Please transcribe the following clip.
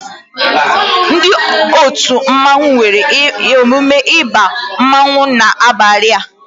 Ndị otu mmanwu nwere emume ịba mmanwu n'abalia